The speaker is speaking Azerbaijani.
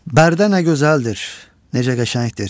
Bərdə nə gözəldir, necə qəşəngdir.